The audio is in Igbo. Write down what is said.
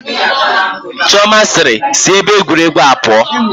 Chioma sịịrị, sị ebe egwuregwu a pụọ